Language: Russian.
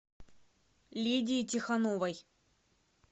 лидии тихоновой